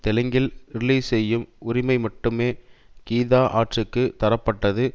தெலுங்கில் ரிலீஸ் செய்யும் உரிமை மட்டுமே கீதா ஆர்ட்ஸூக்கு தரப்பட்டது